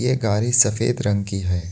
ये गाड़ी सफेद रंग की है।